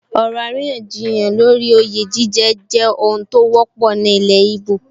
Ọ̀rọ̀ àríyànjiyàn lórí oyè jíjẹ jẹ́ ohun tó wọ́pọ̀ ní ilẹ̀ íbò